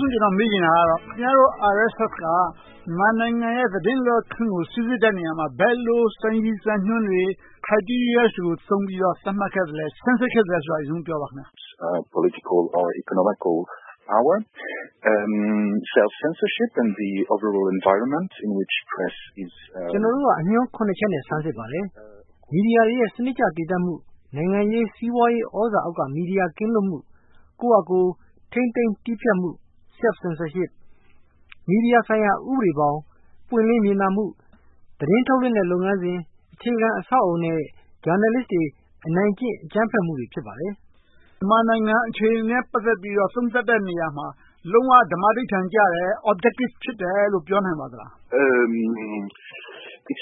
ဆုံး ကျနော် မေးချင်တာက ခင်များတို့ RSF က မြန်မာနိုင်ငံရဲ့ သတင်းလွတ်လပ်ခွင့်ကို စီစစ်တဲ့အခါမှာ ဘယ်လိုစံရည်စံညွှန်တွေ Criteria တွေကို သုံးပြီးတော့ စမ်းစစ်ခဲ့သလဲဆိုတာကို ပထမဦးဆုံး ပြောပါ။ ကျနော်တို့က အညွှန်း ချက်နဲ့ စမ်းစစ်ပါတယ်။ မီဒီယာတွေရဲ့ စနစ်တကျ သေသပ်မှု၊ နိုင်ငံရေး၊ စီးပွားရေး သြဇာအောက်က မီဒီယာ ကင်းလွတ်မှု၊ ကိုယ့်ဟာကိုယ် ထိန်းသိမ်းတည်ဖြတ်မှု Self-censorship, မီဒီယာဆိုင်ရာ ဥပဒေဘောင်၊ ပွင့်လင်းမြင်သာမှု၊ သတင်းထုတ်လုပ်မှု လုပ်ငန်းစဉ်၊ အခြေခံအဆောက်အအုံနဲ့ ဂျာနယ်လစ်တွေ အနိုင်ကျင့် အကြမ်းဖက်မှုတွေ ဖြစ်ပါတယ်။ မြန်မာနိုင်ငံအခြေအနေနနဲ့ ပတ်သက်ပြီးတော့ သုံးသပ်တဲ့နေရာမှာ လုံးဝဓမ္မဓိဌာန်ကျတယ် Objective ဖြစ်တယ်လို့ ပြောနိုင်ပါသလား။ ဒါ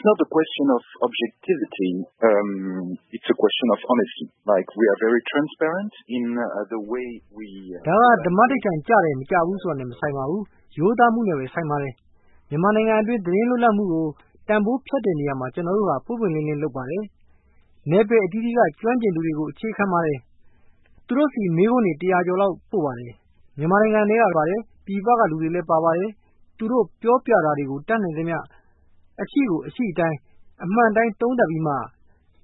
က ဓမ္မာဓိဌာန် ကျတယ်မကျဘူးနဲ့ မဆိုင်ပါဘူး။ ရိုးသားမှုနဲ့ပဲ ဆိုင်ပါတယ်။ မြန်မာနိုင်ငံအတွင်း သတင်းလွတ်လပ်မှုကို တန်းဖိုးဖြတ်တဲ့နေရာမှာ ကျနော်တို့က ပွင့်ပွင့်လင်းလင်း လုပ်ပါတယ်။ နယ်ပယ်အသီးသီးက ကျွမ်းကျင်သူတွေကို အခြေခံပါတယ်။ သူတို့ဆီ မေးခွန်းတွေ တစ်ရာကျော်လောက် ပို့ပါတယ်။ မြန်မာနိုင်ငံထဲကပါတယ်။ ပြည်ပကလူတွေပါတယ်။ သူတို့ပြောပြတာတွေကို တတ်နိုင်သမျှ အရှိကိုအရှိအတိုင်း၊ အမှန်အတိုင်း သုံးသပ်ပြီးမှ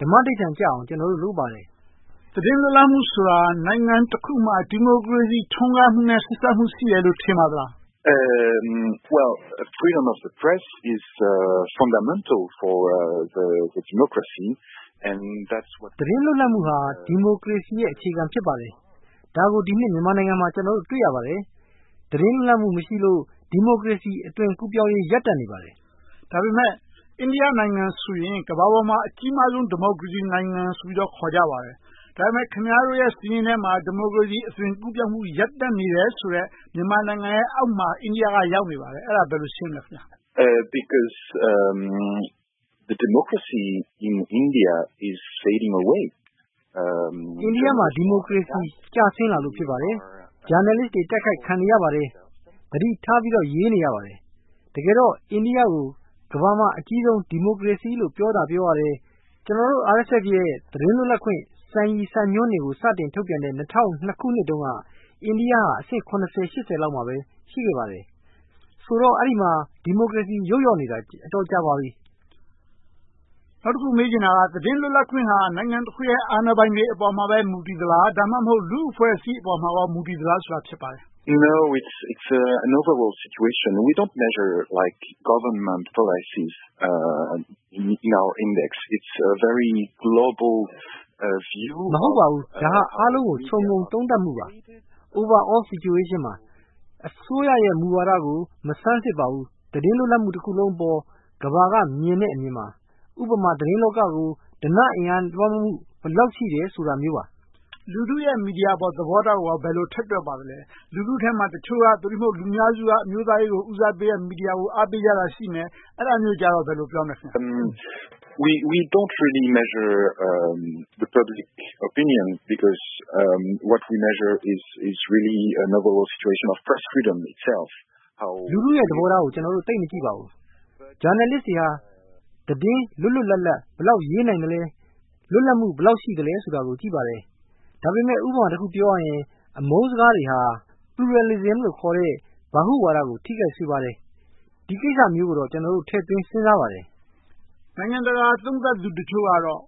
ဓမ္မဓိဌာန်ကျအောင် ကျနော်တို့ လုပ်ပါတယ်။ သတင်းလွတ်လပ်မှုဆိုတာ နိုင်ငံတခုမှာ ဒီမိုကရေစီ ထွန်းကားမှုနဲ့ ဆက်စပ်မှုရှိတယ်လို့ ထင်ပါသလား။ သတင်းလွတ်လပ်မှုဟာ ဒီမိုကရေစီရဲ့ အခြေခံ ဖြစ်ပါတယ်။ ဒါကို ကျနော်တို့ မြန်မာနိုင်ငံမှာ တွေ့ရပါတယ်။ သတင်းလွတ်လပ်မှု မရှိလို့၊ ဒီမိုကရေစီ အသွင်ကူးပြောင်းရေး ရပ်တန့်နေပါတယ်။ ဒါပေမဲ့ အိန္ဒိယနိုင်ငံဆိုရင် ကမ္ဘာပေါ်မှာ အကြီးမားဆုံး ဒီမိုကရေစီနိုင်ငံဆိုပြီး ခေါ်ကြပါတယ်။ ဒါပေမဲ့ ခင်များတို့ရဲ့ စာရင်းထဲမှာ ဒီမိုကရေစီ အသွင်ကူးပြောင်းမှု ရပ်တန့်နေတယ်ဆိုတဲ့ မြန်မာနိုင်ငံရဲ့အောက်မှာ အိန္ဒိယက ရောက်နေတယ်။ အဲဒါကို ဘယ်လိုရှင်းမလဲ။ အိန္ဒိယမှာ ဒီမိုကရေစီ ကျဆင်းလာလို့ ဖြစ်ပါတယ်။ ဂျာနယ်လစ်တွေ တိုက်ခိုက်ခံနေရပါတယ်။ သတိထားပြီးတော့ ရေးနေရပါတယ်။ တကယ်တော့ အိန္ဒိယကို ကမ္ဘာမှာ အကြီးမားဆုံး ဒီမိုကရေစီလို့ ပြောသာပြောရတယ်။ ကျနော်တို့ RSF ရဲ့ သတင်းလွတ်လပ်ခွင့် စံရည်စံညွှန်းတွေကို စတင်ထုတ်ပြန်တဲ့ ၂၀၀၂ ခုနှစ်တုန်းက အိန္ဒိယက အဆင့် လောက်မှာပဲ ရှိခဲ့ပါတယ်။ ဆိုတော့ အဲဒီမှာ ဒီမိုကရေစီ ယုတ်လျော့နေတာ အတော်ကြာပါပြီ။ နောက်တခု မေးချင်တာက သတင်းလွတ်လပ်ခွင့်ဟာ နိုင်ငံတခုရဲ့ အာဏာပိုင်တွေပေါ်မှာပဲ မူတည်နေသလား။ ဒါမှမဟုတ် လူ့အဖွဲ့အစည်းပေါ်မှာပဲ မူတည်သလားဆိုတာ ဖြစ်ပါတယ်။ မဟုတ်ပါဘူး ဒါဟာ အားလုံးကို ခြုံငုံသုံးသပ်မှုပါ Overall situation ပါ။ အစိုးရရဲ့ မူဝါဒကို မစမ်းစစ်ပါဘူး။ သတင်းလွတ်လပ်မှု တခုလုံးအပေါ် ကမ္ဘာကမြင်တဲ့ အမြင်ပါ။ ဥပမာ သတင်းလောကကို ဓနအင်အား ဘယ်လောက်လွှမ်းမိုးမှု ရှိတယ်ဆိုတာမျိုးပါ။ လူထုရဲ့ မီဒီယာအပေါ် သဘောထားကို ဘယ်လိုထည့်တွက်ပါသလဲ။ လူထုထဲမှာ တချို့က သို့တည်မဟုတ် လူအများစုက အမျိုးသားရေးကို ဦးစားပေးတဲ့ မီဒီယာကို အားပေးကြတာရှိမယ်။ အဲဒါမျိုးကို ဘယ်လိုပြောမလဲ။ လူထုရဲ့ သဘောထားကို ကျနော်တို့ သိပ်မကြည့်ပါဘူး။ ဂျာနယ်လစ်တွေက သတင်း လွတ်လွတ်လပ်လပ် ဘယ်လောက်ရေးနိုင်သလဲ၊ လွတ်လပ်မှု ဘယ်လောက်ရှိသလဲဆိုတာကို ကြည့်ပါတယ်။ ဒါပေမဲ့ ဥပမာတခုပြောရရင် အမုန်းစကားတွေဟာ Pluralism လို့ခေါ်တဲ့ ဗဟုဝါဒ ထိခိုက်စေပါတယ်။ ဒီကိစ္စမျိုးကိုတော့ ကျနော်တို့ ထည့်သွင်းစဉ်းစားပါတယ်။ နိုင်ငံတကာ သုံးသပ်သူတချို့ကတော့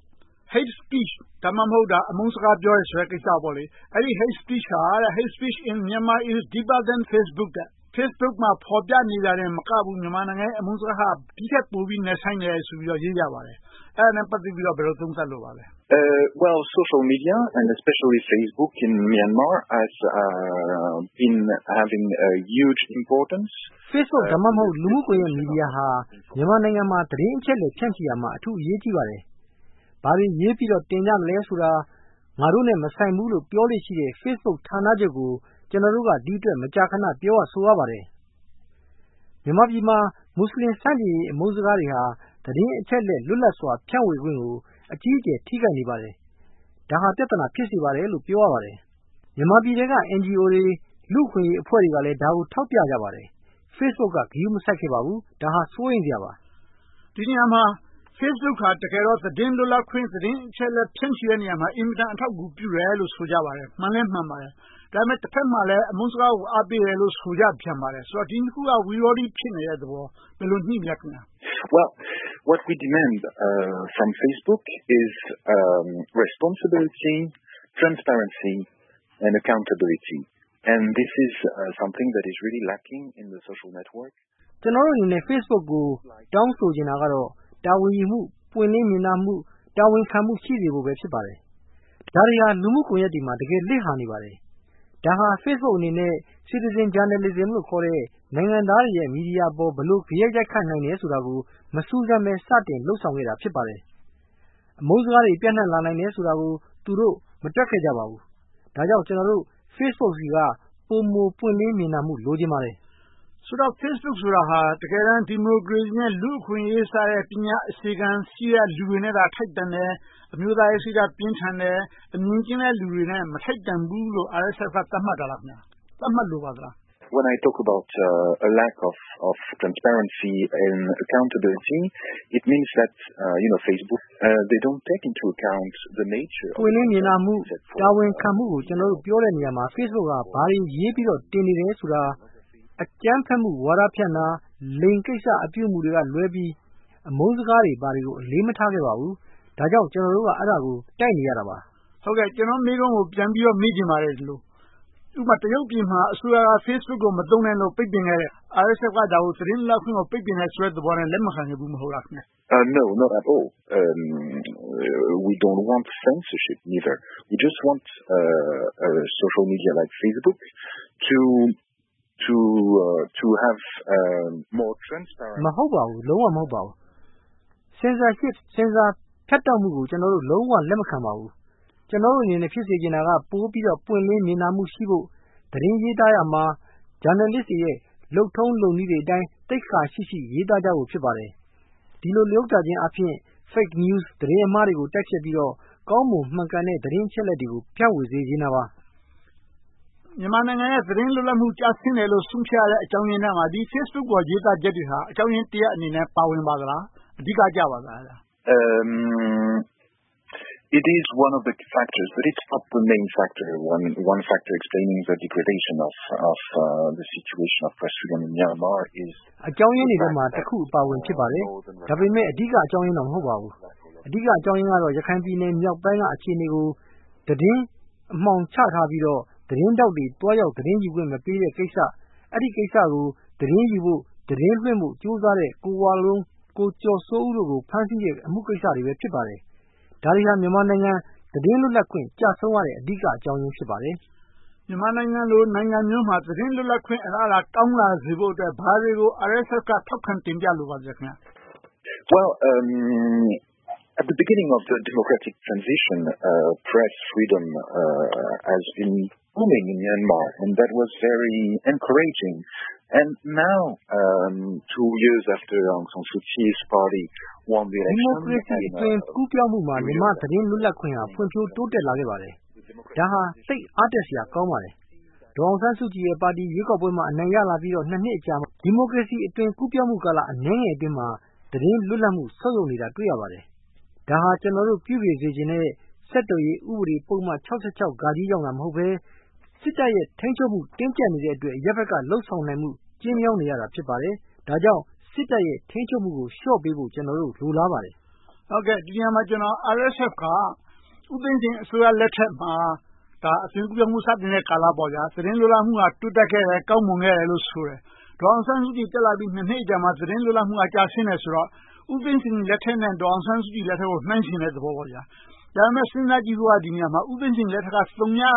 Hate Speech ဒါမှမဟုတ် အမုန်းစကားပြောတဲ့ကိစ္စပေါ့ - Hate Speech in Myanmar is deeper than Facebook - ဖေစ်ဘုတ်မှာ ဖော်ပြနေတာတင်မကဘူး မြန်မာနိုင်ငံရဲ့ အမုန်းစကားဟာ ဒီထက်ပိုပြီး နက်ရှိုင်းတယ်ဆိုပြီး ရေးကြပါတယ်။ အဲဒါနဲ့ ပတ်သက်ပြီး ဘယ်လိုသုံးသပ်လိုပါသလဲ။ Facebook ဒါမှမဟုတ် လူမှု့ကွန်ရက်မီဒီယာဟာ မြန်မာနိုင်ငံမှာ သတင်းအချက်အလက် ဖြန့်ချီရာမှာ အထူးအရေးကြီးပါတယ်။ ဘာတွေရေးပြီးတော့ တင်ကြမလဲဆိုတာ ငါတို့နဲ့ မဆိုင်ဘူးဆိုပြီး ပြောလေ့ရှိတဲ့ ဖေစ်ဘုတ်ဌာနချုပ်ကို ကျနော်တို့က ဒီ့အတွက် မကြာခဏ ပြောရဆိုရပါတယ်။ မြန်မာနိုင်ငံမှာ မူစလင်ဆန့်ကျင်ရေး အမုန်းစကားတွေဟာ သတင်းအချက်အလက် လွတ်လပ်စွာ ဖြန့်ဝေခွင့်ကို အကြီးအကျယ် ထိခိုက်နေပါတယ်။ ဒါဟာ ပြဿနာ ဖြစ်စေပါတယ်လို့ ပြောရပါတယ်။ မြန်မာပြည်ထဲက NGO တွေ၊ လူ့အခွင့်အရေးအဖွဲ့တွေကလည်း ဒါကိုထောက်ပြကြပါတယ်။ Facebook က ဒါကို ဂရုမစိုက်ခဲ့ပါဘူး။ ဒါဟာ စိုးရိမ်စရာပါ။ ဒီနေရာမှာ Facebook ဟာ သတင်းလွတ်လပ်ခွင့်၊ သတင်းအချက်အလက် ဖြန့်ချီရာမှာ အင်မတန် အထောက်အကူ ပြုတယ်လို့ ဆိုကြပါတယ်။ မှန်လည်းမှန်ကြပါတယ်။ ဒါပေမဲ့ တဘက်မှာလဲ အမုန်းစကားကို အားပေးတယ်လို့ ဆိုကြပြန်ပါတယ်။ ဒီနှစ်ခုက ဝိရောဓိ ဖြစ်နေတဲ့သဘော။ ဘယ်လိုညှိမလဲ။ ကျနော်တို့အနေနဲ့ Facebook ကို တောင်းဆိုချင်တာကတော့ တာဝန်ယူမှု၊ ပွင့်လင်းမြင်သာမှု၊ တာဝန်ခံမှု ရှိစေဖို့ပဲ ဖြစ်ပါတယ်။ ဒါတွေဟာ လူမှုကွန်ရက်တွေမှာ တကယ်လစ်ဟာနေပါတယ်။ ဒါဟာ Facebook အနေနဲ့ Citizen Journalism ခေါ်တဲ့ နိုင်ငံသားတွေရဲ့ မီဒီယာအပေါ် ဘယ်လို ဂယက်ရိုက်ခတ်နိုင်တယ်ဆိုတာကို မစူးစမ်းဘဲ စတင်လုပ်ဆောင်ခဲ့တာ ဖြစ်ပါတယ်။ အမုန်းစကားတွေ ပြန့်နံှ့လာနိုင်တယ်ဆိုတာကို သူတို့ မတွက်ခဲ့ကြပါဘူး။ ဒါကြောင့် ကျနော်တို့ Facebook ဆီက ပိုမိုပွင့်လင်းမြင်သာမှု လိုချင်ပါတယ်။ ဆိုတော့ Facebook ဆိုတာ တကယ်တမ်း ဒီမိုကရေစီနဲ့ လူ့အခွင့်အရေးဆိုတဲ့ ပညာအခြေခံရှိတဲ့ လူတွေနဲ့သာ ထိုက်တန်တယ်။ အမျိုးသားရေးစိတ်ဓါတ် ပြင်းထန်တယ်၊ အမြင်ကျဉ်းတဲ့လူတွေနဲ့ မထိုက်တန်ဘူးလို့ RSF က သတ်မှတ်တာလား။ သတ်မှတ်လိုတာလား။ ပွင့်လင်းမြင်သာမှု၊ တာဝန်ခံမှုကို ကျနော်တို့ ပြောတဲ့နေရာမှာ Facebook က ဘာတွေရေးပြီးတော့ တင်နေတယ်ဆိုတာ အကြမ်းဖက်မှု ဝါဒဖြန့်တာ၊ လိင်ကိစ္စအပြုအမှုတွေကလွဲပြီး အမုန်းစကားတွေ ဘာတွေကို အလေးမထားခဲ့ပါဘူး။ ဒါကြောင့် ကျနော်တို့က အဲဒါကို တိုက်နေခဲ့တာပါ။ ဟုတ်ကဲ့ ကျနော့်မေးခွန်းကို ပြန်ပြီးတော့ မေးချင်ပါတယ်။ ဥပမာ တရုတ်ပြည်မှာ Facebook ကို မသုံးနဲ့လို့ ပိတ်ပင်ခဲ့တယ်။ ဒါကို RSF က သတင်းလွတ်လပ်ခွင့်ကို ပိတ်ပင်ခဲ့တယ်ဆိုပြီး လက်မခံခဲ့ဘူး မဟုတ်လား။ မဟုတ်ပါဘူး။ လုံးဝမဟုတ်ပါဘူး။ Censorship ဆင်ဆာဖြတ်တောက်မှုကို ကျနော်တို့ လုံးဝလက်မခံပါဘူး။ ကျနော်တို့အနေနဲ့ ဖြစ်စေချင်တာက ပိုပြီးတော့ ပွင့်လင်းမြင်သာမှုရှိဖို့၊ သတင်းရေးသားတဲ့အခါမှာ ဂျာနယ်လစ်တွေရဲ့ လုပ်ထုံးလုပ်နည်းတွေအတိုင်း သိက္ခာရှိရှိ ရေးသားကြဖို့ ဖြစ်ပါတယ်။ ဒီလိုလုပ်ခြင်းအားဖြင့် Fake News သတင်းအမှားတွေကို တိုက်ဖျက်ပြီးတော့ ကောင်းမွန်မှန်ကန်တဲ့ သတင်းအချက်အလက်တွေကို ဖြန့်ဝေစေချင်တာပါ။ မြန်မာနိုင်ငံရဲ့ သတင်းလွတ်လပ်ခွင့် ကျဆင်းတယ်လို့ ဆုံးဖြတ်ရတဲ့ အကြောင်းရင်းထဲမှာ ဒီ Facebook ပေါ် ရေးသားချက်တွေဟာ အကြောင်းရင်းတရပ်အနေနဲ့ ပါဝင်ပါသလား။ အဓိကကျပါသလား။ အကြောင်းရင်းတွေထဲမှာ တခုအပါအဝင် ဖြစ်ပါတယ်။ ဒါပေမဲ့ အဓိကအကြောင်းရင်းတော့ မဟုတ်ပါဘူး။ အဓိကအကြောင်းရင်းကတော့ ရခိုင်ပြည်နယ်မြောက်ပိုင်းက အခြေအနေကို သတင်းအမှောင်ချထားပြီးတော့ သတင်းထောက်တွေ သွားရောက်ခွင့်မပေးတဲ့ကိစ္စ။ အဲဒီကိစ္စကို သတင်းယူဖို့၊ သတင်းလွှင့်ဖို့ ကြိုးစားတဲ့ ကိုဝလုံး၊ ကိုကျော်စိုးဦးတို့ကို ဖမ်းဆီးတဲ့ အမှုကိစ္စတွေပဲ ဖြစ်ပါတယ်။ ဒါတွေဟာ မြန်မာနိုင်ငံ သတင်းလွတ်လပ်ခွင့် ကျဆုံးရတဲ့အကြောင်းရင်း ဖြစ်ပါတယ်။ မြန်မာနိုင်ငံလို နိုင်ငံမျိုးမှာ သတင်းလွတ်လပ်ခွင့် အလားအလာကောင်းလာဖို့ RSF က ဘာတွေကို ထောက်ခံတင်ပြလိုပါသလဲ။ ဒီမိုကရေစီ အသွင်ကူးပြောင်းမှုမှာ သတင်းလွတ်လပ်ခွင့်ဟာ ဖွံ့ဖြိုးတိုးတက်လာခဲ့ပါတယ်။ ဒါဟာ သိပ်အားတက်စရာကောင်းပါတယ်။ ဒေါ်အောင်ဆန်းစုကြည်ရဲ့ပါတီ အနိုင်ရလာပြီး နှစ်အကြာမှာ ဒီမိုကရေစီ အသွင်ကူးပြောင်းမှု အနည်းငယ်အတွင်းမှာ သတင်းလွတ်လပ်မှု ဆုတ်ယုတ်နေတာ တွေ့ရပါတယ်။ ဒါက ကျနော်တို့ ပြုပြင်စေချင်တဲ့ ဆက်သွယ်ရေးပုဒ်မ ကြောင့် မဟုတ်ဘဲ၊ စစ်တပ်ရဲ့ ထိန်းချုပ်မှု တင်းကြပ်နေတဲ့အတွက် အရပ်ဘက်က လုပ်ဆောင်နေမှု ကျဉ်းမြောင်းနေရတာ ဖြစ်ပါတယ်။ ဒါကြောင့် စစ်တပ်ရဲ့ ထိန်းချုပ်မှုကို လျှော့ပေးဖို့ ကျနော်တို့ လိုလားပါတယ်။ ဒီနေရာမှာ RSF က ဦးသိန်းစိန်လက်ထက်မှာ အသွင်ကူးပြောင်းမှု စတင်တဲ့ကာလပေါ့ - သတင်းလွတ်လပ်မှု တိုးတက်ခဲ့တယ်၊ ကောင်းမွန်ခဲ့တယ်လို့ ဆိုတယ်။ ဒေါ်အောင်ဆန်းစုကြည် တက်လာပြီး နှစ်အကြာမှာ သတင်းလွတ်လပ်မှု ကျဆင်းလာတယ်ဆိုတော့ ဦးသိန်းစိန်လက်ထက်နဲ့ ဒေါ်အောင်ဆန်းစုကြည်လက်ထက်ကို နှိုင်းယှဉ်တဲ့သဘောလား။ ဒါပေမဲ့ စဉ်းစားကြည့်ဖို့က ဒီနေရာမှာ ဦးသိန်းစိန်လက်ထက် သုညကနေ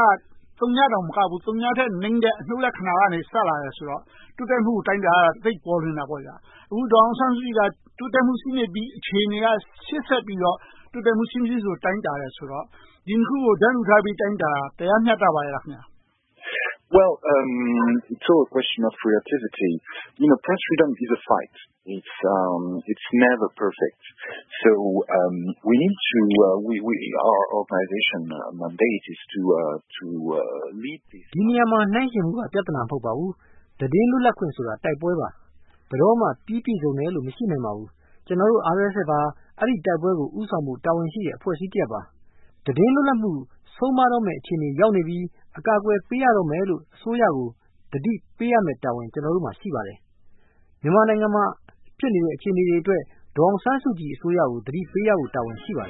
သုညတောင်မကဘူး အနုတ်လက္ခဏာကနေ စလာတယ်ဆိုတော့ တိုးတက်မှု အတိုင်းအတာက သိပ်ပေါ်လွှင်တာပေါ့။ အခု ဒေါ်အောင်ဆန်းစုကြည်က တိုးတက်မှု ရှိနေတဲ့ အခြေအနေကနေ ရှေ့ဆက်ပြီး အခြေအနေကနေ ရှေ့ဆက်ပြီးတော့ တိုးတက်မှု ရှိမရှိကို တိုင်းတာတယ်ဆိုတော့ ဒီနှစ်ခုကို တန်းတူထားပြီး တိုင်းတာတာ တရားမျှတမှု ရှိပါသလား။ ဒီနေရာမှာ နှိုင်းယှဉ်မှုက ပြဿနာ မဟုတ်ပါဘူး။ သတင်းလွတ်လပ်ခွင့်ဆိုတာ တိုက်ပွဲပါ။ ဘယ်တော့မှ ပြီပြည့်စုံတယ်လို့ မရှိနိုင်ပါဘူး။ ကျနော်တို့ RSF က အဲဒီတိုက်ပွဲကို ဦးဆောင်မှု တာဝန်ရှိတဲ့ အဖွဲ့အစည်းတရပ်ပါ။ သတင်းလွတ်လပ်ခွင့် ဆုံးပါးတော့မယ့် အခြေအနေရောက်နေပြီ၊ အကာအကွယ်ပေးရတော့မယ်လို့ အစိုးရကို သတိပေးရမယ့်တာဝန် ကျနော်တို့မှာ ရှိပါတယ်။ မြန်မာနိုင်ငံမှာ ဖြစ်နေတဲ့ အခြေအနေတွေအတွက် ဒေါ်အောင်ဆန်းစုကြည် အစိုးရကို သတိပေးရဖို့ တာဝန်ရှိပါတ